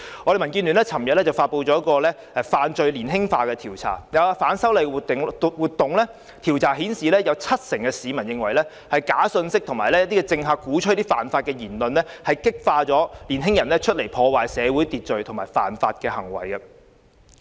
民主建港協進聯盟昨天發布"市民對'犯罪年輕化'意見調查"，就有關反修例活動的調查顯示，有七成市民認為假信息及政客鼓吹犯法的言論激發了年輕人破壞社會秩序和犯法的行為。